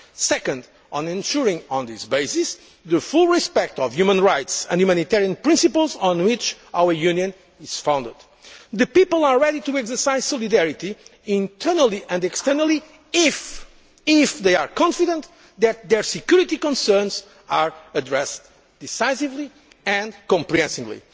and crisis and, second, on ensuring, on this basis, full respect for human rights and the humanitarian principles on which our Union is founded. The people are ready to exercise solidarity, internally and externally, if they are confident that their security concerns are addressed decisively and comprehensively.